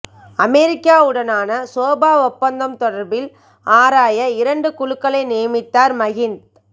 அமெரிக்காவுடனான சோபா ஒப்பந்தம் தொடர்பில் ஆராய இரண்டு குழுக்களை நியமித்தார் மகிந்த